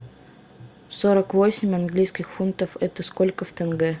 сорок восемь английских фунтов это сколько в тенге